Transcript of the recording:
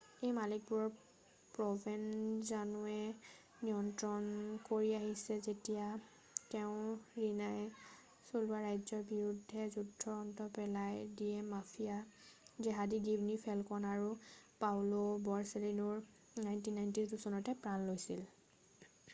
এই মালিকবোৰক প্ৰভেনজানোৱে নিয়ন্ত্ৰণ কৰি আহিছে যেতিয়া তেওঁ ৰিনাই চলোৱা ৰাজ্যৰ বিৰুদ্ধে যুদ্ধৰ অন্ত পেলাইছিল যিয়ে মাফিয়া জেহাদী গীৱনী ফেলকণ আৰু পাওঁলো বৰচেলিনোৰ 1992 চনত প্ৰাণ লৈছিল